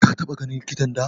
Ka taɓa ganin likitan da?